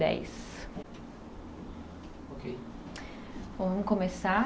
Dez, Ok? Bom, vamos começar.